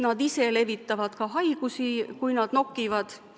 Nad ise levitavad ka haigusi, kui nad nokivad.